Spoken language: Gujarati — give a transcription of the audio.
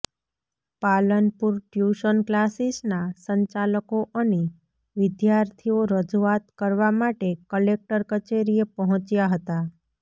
પાલનપુર ટ્યુશન ક્લાસીસના સંચાલકો અને વિદ્યાર્થીઓ રજૂઆત કરવા માટે કલેક્ટર કચેરીએ પહોંચ્યા હતા